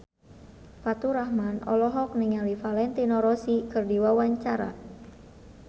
Faturrahman olohok ningali Valentino Rossi keur diwawancara